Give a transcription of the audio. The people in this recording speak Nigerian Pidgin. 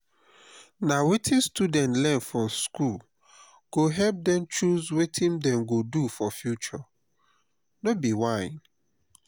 na wetin students learn for school go help dem choose wetin dem go do for future. no be whine